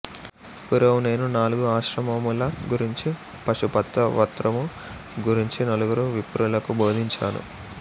పూర్వము నేను నాలుగు ఆశ్రమముల గురించి పాశుపత్రవ్రతము గురించి నలుగురు విప్రులకు బోధించాను